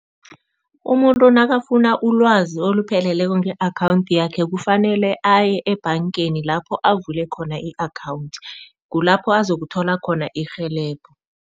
Umuntu nakafuna ulwazi olupheleleko nge-akhawundi yakhe kufanele aye ebhangeni lapho avule khona i-account, kulapho azakuthola khona irhelebho.